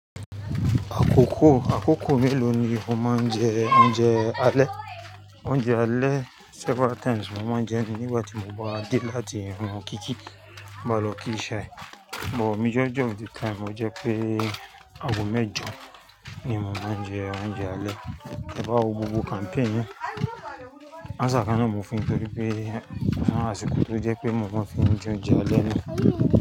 Àkókò, àkókò mélòó ni o máa ń jẹ oúnjẹ alẹ́? Oúnjẹ alẹ́ several times mo máa ń jẹ nígbà tí mo bá dé láti irun kíkí, bá lọ kí iṣẹ́ ẹ. But majority of the time lo jẹ pé ago mẹ́jọ ni mo máa ń jẹ oúnjẹ alẹ́. Te bá wo gbogbo campaign náà, answer kan náà n mo fún yin nítorí pé àwọn àsìkò tó jẹ́ pé mo máa fi jẹ oúnjẹ alẹ́ ni.